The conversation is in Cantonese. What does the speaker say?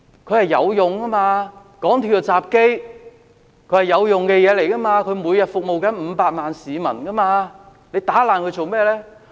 它是有用的，港鐵的入閘機，是有用的東西，它每天服務500萬名市民，為何打爛它？